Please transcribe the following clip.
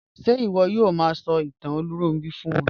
Ṣe iwọ yoo ma sọ itan Olunronbi fun wọn?